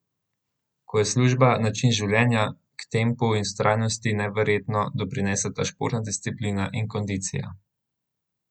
Ko je služba način življenja, k tempu in vztrajnosti neverjetno doprineseta športna disciplina in kondicija.